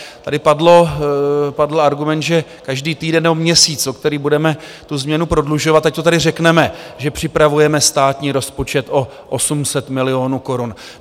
Tady padl argument, že každý týden nebo měsíc, o který budeme tu změnu prodlužovat, ať to tady řekneme, že připravujeme státní rozpočet o 800 milionů korun.